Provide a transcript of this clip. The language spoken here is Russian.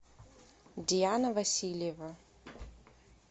диана васильева